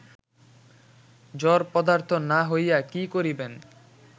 জড়পদার্থ না হইয়া কি করিবেন